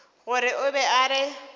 gore o be a re